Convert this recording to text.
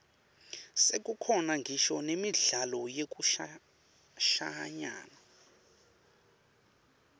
sekukhona ngisho nemidlalo yekushayana